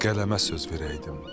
Qələmə söz verəydim.